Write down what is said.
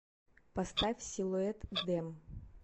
поставь силуэт дэм